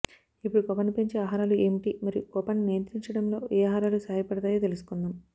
ఇప్పుడు కోపాన్ని పెంచే ఆహారాలు ఏమిటి మరియు కోపాన్ని నియంత్రించడంలో ఏ ఆహారాలు సహాయపడతాయో తెలుసుకుందాం